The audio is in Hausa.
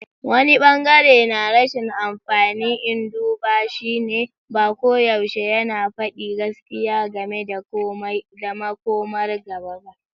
Wani ɓangare na rashin amfani na duba shine, ba koyaushe yana faɗi gaskiya game da makomar gaba ba.